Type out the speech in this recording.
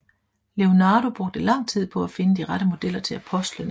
Leonardo brugte lang tid på at finde de rette modeller til apostlene